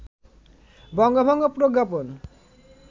বঙ্গভঙ্গ প্রজ্ঞাপন